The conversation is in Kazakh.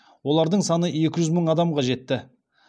олардың саны екі жүз мың адамға жетті